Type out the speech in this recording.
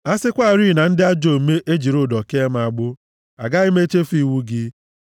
A sịkwarị na ndị ajọ omume ejiri ụdọ kee m agbụ, agaghị m echefu iwu gị.